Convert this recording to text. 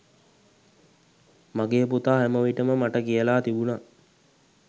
මගේ පුතා හැම විටම මට කියලා තිබුණා